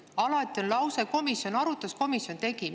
Alati on lause, et komisjon arutas, komisjon tegi.